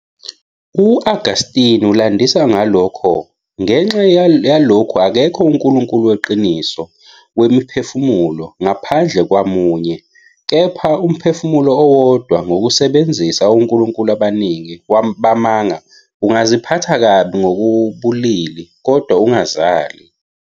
U-Augustine ulandisa ngalokho- "Ngenxa yalokhu akekho uNkulunkulu Weqiniso wemiphefumulo, ngaphandle kwaMunye- kepha umphefumulo owodwa ngokusebenzisa onkulunkulu abaningi bamanga ungaziphatha kabi ngokobulili, kodwa ungazali."